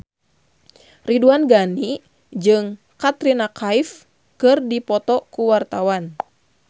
Ridwan Ghani jeung Katrina Kaif keur dipoto ku wartawan